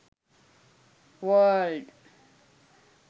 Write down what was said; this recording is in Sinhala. world